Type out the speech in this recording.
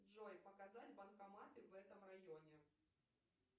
джой показать банкоматы в этом районе